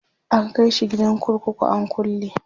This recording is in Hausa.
an kaishi gidan kurkuku an kulle